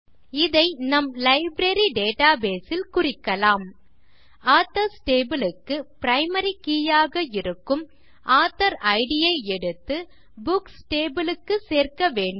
இதை நம் library database ல் குறிக்கலாம் ஆதர்ஸ் டேபிள் க்கு பிரைமரி கே ஆக இருக்கும் ஆத்தோர் இட் ஐ எடுத்து புக்ஸ் டேபிள் க்கு சேர்க்க வேண்டும்